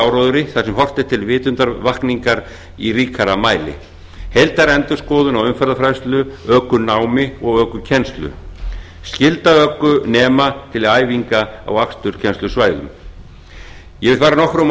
áróðri þar sem horft er til vitundarvakningar í ríkara mæli heildarendurskoðun á umferðarfræðslu ökunámi og ökukennslu skylda ökunema til æfinga á aksturskennslusvæðum ég hef farið nokkrum orðum um